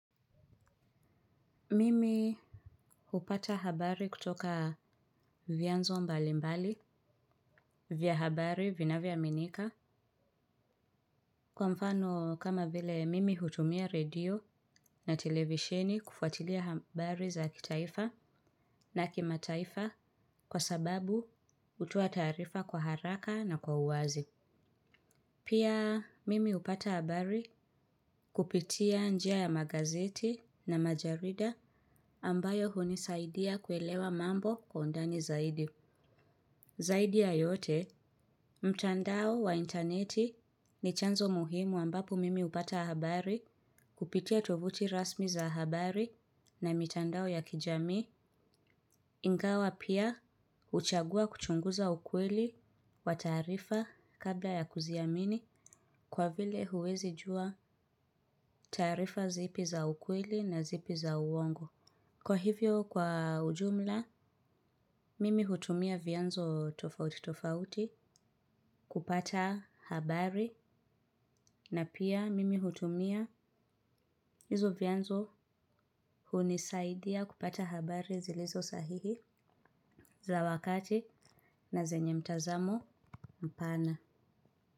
Mimi hupata habari kutoka vyanzo mbalimbali vya habari vinavyoaminika. Kwa mfano kama vile mimi hutumia redio na televisheni kufuatilia habari za kitaifa na kimataifa kwa sababu hutoa taarifa kwa haraka na kwa uwazi. Pia mimi hupata habari kupitia njia ya magazeti na majarida ambayo hunisaidia kuelewa mambo kwa undani zaidi. Zaidi ya yote, mtandao wa interneti ni chanzo muhimu ambapo mimi hupata habari kupitia tovuti rasmi za habari na mitandao ya kijamii, ingawa pia huchagua kuchunguza ukweli wa taarifa kabla ya kuziamini kwa vile huwezi jua taarifa zipi za ukweli na zipi za uongo. Kwa hivyo kwa ujumla, mimi hutumia vyanzo tofauti tofauti kupata habari na pia mimi hutumia hizo vyanzo hunisaidia kupata habari zilizo sahihi za wakati na zenye mtazamo mpana.